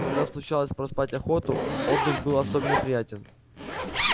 когда случалось проспать охоту отдых был особенно приятен